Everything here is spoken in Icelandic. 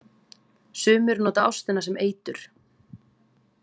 Sumir nota ástina sem eitur.